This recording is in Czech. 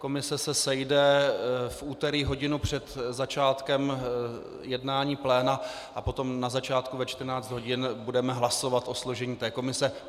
Komise se sejde v úterý hodinu před začátkem jednání pléna a potom na začátku ve 14 hodin budeme hlasovat o složení té komise.